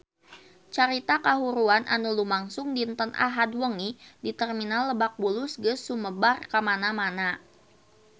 Carita kahuruan anu lumangsung dinten Ahad wengi di Terminal Lebak Bulus geus sumebar kamana-mana